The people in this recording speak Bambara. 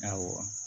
Awɔ